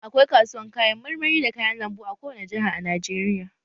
Akwai kasuwan kayan marmari da kayan lambu a kowane Jaha a Najeriya